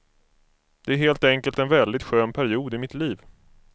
Det är helt enkelt en väldigt skön period i mitt liv.